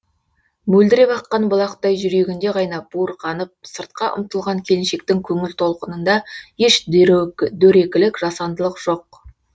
мөлдіреп аққан бұлақтай жүрегінде қайнап буырқанып сыртқа ұмтылған келіншектің көңіл толқынында еш дөрекілік жасандылық жоқ